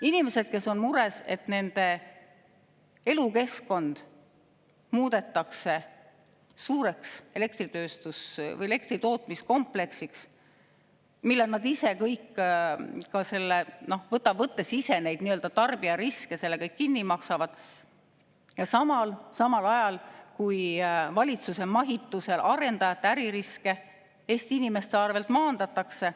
Inimesed on mures, et nende elukeskkond muudetakse suureks elektritootmiskompleksiks, mille nad ise, võttes nii-öelda tarbija riske, kõik kinni maksavad, samal ajal kui valitsuse mahitusel arendajate äririske Eesti inimeste arvelt maandatakse.